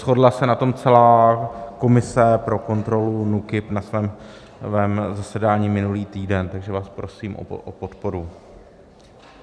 Shodla se na tom celá komise pro kontrolu NÚKIB na svém zasedání minulý týden, takže vás prosím o podporu.